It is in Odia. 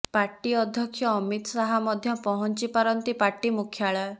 ପାର୍ଟି ଅଧ୍ୟକ୍ଷ ଅମିତ୍ ଶାହା ମଧ୍ୟ ପହଂଚି ପାରନ୍ତି ପାର୍ଟି ମୁଖ୍ୟାଳୟ